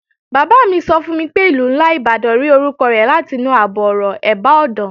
Bàbá mi sọ fún mi pé Ìlú ńlá Ìbàdàn rí orúkọ rẹ̀ látinú àbọ̀-ọ̀rọ̀, "ẹ̀bá ọ̀dàn"